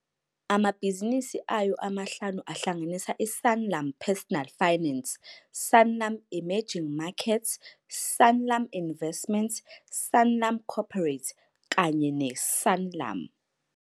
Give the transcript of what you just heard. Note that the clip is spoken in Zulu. Amabhizinisi ayo amahlanu ahlanganisa iSanlam Personal Finance, Sanlam Emerging Markets, Sanlam Investments, Sanlam Corporate kanye neSanlam.